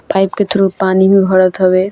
Pipe के through पानी भी भरत हवे।